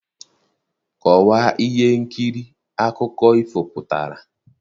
Kọwaa ihe nkiri akụkọ ifo pụtara?